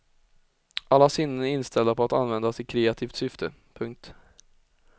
Alla sinnen är inställda på att användas i kreativt syfte. punkt